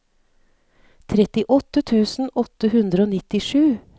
trettiåtte tusen åtte hundre og nittisju